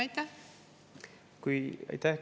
Aitäh!